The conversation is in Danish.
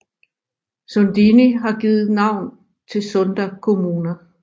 Sundini har givet navn til Sunda kommuna